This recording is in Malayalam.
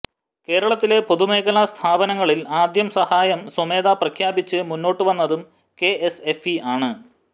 കേരളത്തിലെ പൊതുമേഖലാ സ്ഥാപനങ്ങളിൽ ആദ്യം സഹായം സ്വമേധയാ പ്രഖ്യാപിച്ച് മുന്നോട്ട് വന്നതും കെഎസ്എഫ്ഇ ആണ്